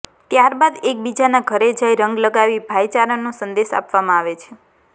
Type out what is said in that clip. ત્યારબાદ એકબીજાના ઘરે જઈ રંગ લગાવી ભાઈચારાનો સંદેશ આપવામાં આવે છે